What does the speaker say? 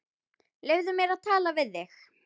Leyfðu mér að tala við þig!